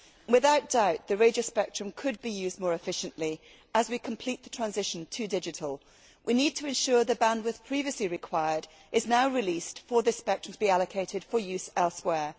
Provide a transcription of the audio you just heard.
Without doubt the radio spectrum could be used more efficiently as we complete the transition to digital. We need to ensure that the bandwidth previously required is now released for this spectrum to be allocated for use elsewhere.